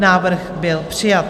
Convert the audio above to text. Návrh byl přijat.